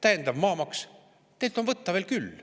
Täiendav maamaks – teilt on võtta veel küll.